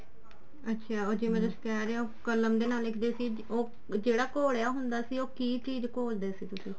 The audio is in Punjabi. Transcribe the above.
ਅੱਛਿਆ ਹੁਣ ਜਿਵੇਂ ਤੁਸੀਂ ਕਹਿ ਰਹੇ ਹੋ ਕਲਮ ਦੇ ਨਾਲ ਲਿਖਦੇ ਸੀ ਜਿਹੜਾ ਘੋਲਿਆ ਹੁੰਦਾ ਸੀ ਉਹ ਕੀ ਚੀਜ਼ ਘੋਲਦੇ ਸੀ ਤੁਸੀਂ